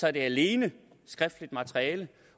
er det alene skriftligt materiale